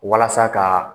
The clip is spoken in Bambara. Walasa ka